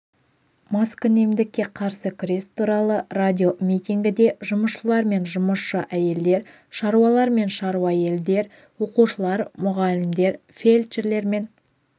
маскүнемдікке қарсы күрес туралы радиомитингіде жұмысшылар мен жұмысшы әйелдер шаруалар мен шаруа-әйелдер оқушылар мұғалімдер фельдшерлер мен